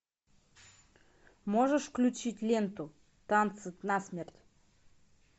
можешь включить ленту танцы насмерть